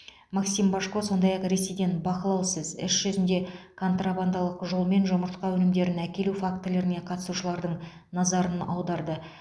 максим божко сондай ақ ресейден бақылаусыз іс жүзінде контрабандалық жолмен жұмыртқа өнімдерін әкелу фактілеріне қатысушылардың назарын аударды